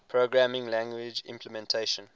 programming language implementation